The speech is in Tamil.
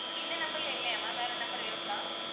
இந்த number ல இல்லையா ma'am? வேற number இருக்கா?